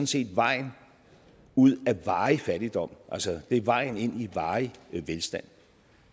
set er vejen ud af varig fattigdom det er vejen ind i varig velstand